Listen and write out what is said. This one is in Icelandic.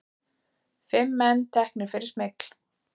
Fimm menn teknir fyrir smygl